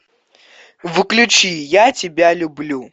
включи я тебя люблю